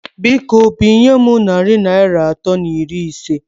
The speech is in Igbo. Biko, binye m narị Naịra atọ na iri isé